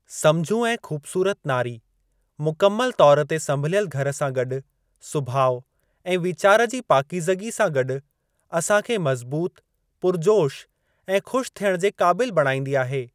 सम्झू ऐं खु़बसूरत नारी ,मुकमल तौरु ते संभलियल घर सां गॾु, सुभाउ ऐं वीचार जी पाकीज़गी सां गॾु, असांखे मज़बूत, पुरिजोश ऐं खु़श थियणु जे क़ाबिलु बणाईंदी आहे।